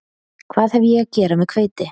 Hvað hef ég að gera með hveiti